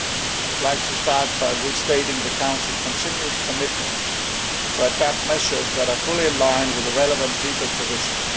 I would like to start by restating that the Council continues its commitment to adopt measures that are fully in line with the relevant legal provisions.